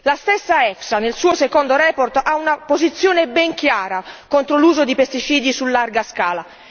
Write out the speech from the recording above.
La stessa EFSA nel suo secondo report ha una posizione ben chiara contro l'uso di pesticidi su larga scala.